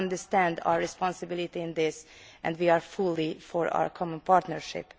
We understand our responsibility in this and we are fully in favour of our common partnership.